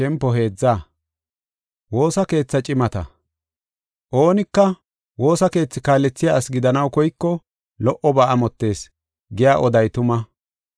Oonika, “Woosa keethi kaalethiya asi gidanaw koyko lo77oba amottees” giya oday tuma.